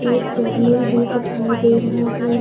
एक भी दिखाई दे रहा है।